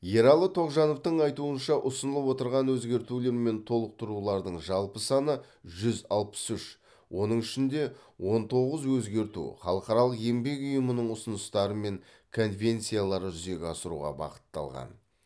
ералы тоғжановтың айтуынша ұсынылып отырған өзгертулер мен толықтырулардың жалпы саны жүз алпыс үш оның ішінде он тоғыз өзгерту халықаралық еңбек ұйымының ұсыныстары мен конвенцияларды жүзеге асыруға бағытталған